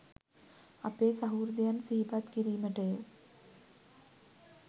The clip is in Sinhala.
අපේ සහෘදයන් සිහිපත් කිරිමටය